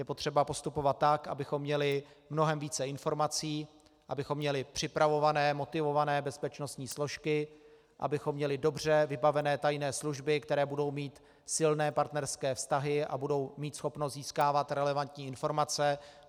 Je potřeba postupovat tak, abychom měli mnohem více informací, abychom měli připravované, motivované bezpečnostní složky, abychom měli dobře vybavené tajné služby, které budou mít silné partnerské vztahy a budou mít schopnost získávat relevantní informace.